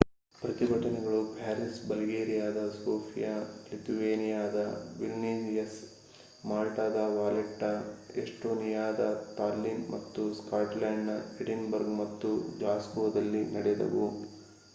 ಪ್ರತಿಭಟನೆಗಳು ಪ್ಯಾರಿಸ್‌ ಬಲ್ಗೇರಿಯಾದ ಸೋಫಿಯಾ ಲಿಥುವೇನಿಯಾದ ವಿಲ್ನಿಯಸ್‌ ಮಾಲ್ಟಾದ ವಾಲೆಟ್ಟಾ ಎಸ್ಟೋನಿಯಾದ ತಾಲ್ಲಿನ್‌ ಮತ್ತು ಸ್ಕಾಟ್ಲೆಂಡ್‌ನ ಎಡಿನ್‌ಬರ್ಗ್‌ ಮತ್ತು ಗ್ಲಾಸ್ಗೋದಲ್ಲೂ ನಡೆದವು